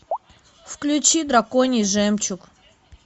включи драконий жемчуг